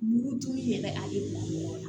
Mugujugu yɛrɛ a ye